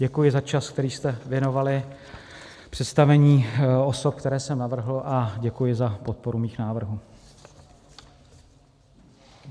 Děkuji za čas, který jste věnovali představení osob, které jsem navrhl, a děkuji za podporu mých návrhů.